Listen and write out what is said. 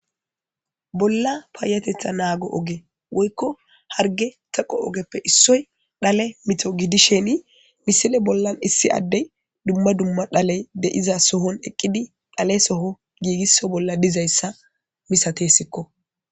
Bolla payatetha nago oge woyko harge teqo ogeppe issoy dhale mitto gidishin missile bolla issi adey dumma dumma dhaley de'izason eqidi dhaleso gigiso bolla dizaysa misatisikko.